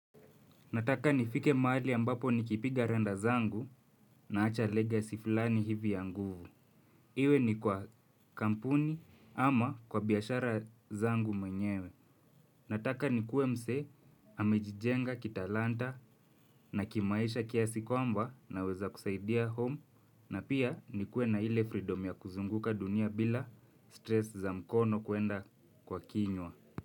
Nataka nifike mahali ambapo nikipiga randa zangu naacha legacy fulani hivi ya nguvu. Iwe ni kwa kampuni ama kwa biashara zangu mwenyewe. Nataka nikuwe mse amejijenga kitalanta na kimaisha kiasi kwamba naweza kusaidia home na pia nikuwe na ile freedom ya kuzunguka dunia bila stress za mkono kuenda kwa kinywa.